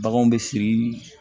Baganw bɛ siri